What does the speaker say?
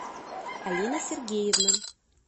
алина сергеевна